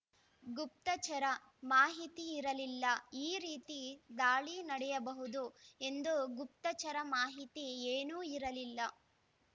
ಗುಪ್ತಚರ ಮಾಹಿತಿ ಇರಲಿಲ್ಲ ಈ ರೀತಿ ದಾಳಿ ನಡೆಯಬಹುದು ಎಂದು ಗುಪ್ತಚರ ಮಾಹಿತಿ ಏನೂ ಇರಲಿಲ್ಲ